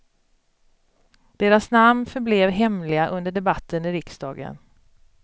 Deras namn förblev hemliga under debatten i riksdagen.